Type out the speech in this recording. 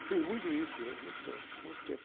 Eu fiz muito isso durante muito tempo, muito tempo.